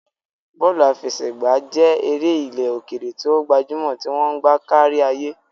Bọ́ọ̀lù àfẹsẹ̀gbá jẹ́ eré ilẹ̀ òkèèrè tí ó gbajúmọ̀ tí wọ́n ń gbá kárí ayé.